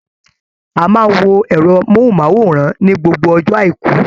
A máa n wo ẹrọ mohunmaworan ni gbogbo ọjọ aiku.